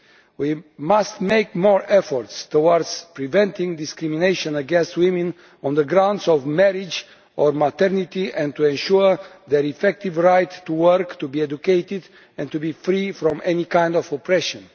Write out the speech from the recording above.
We must make a greater effort towards preventing discrimination against women on the grounds of marriage or maternity, and ensuring their effective right to work, to be educated and to be free from any kind of oppression.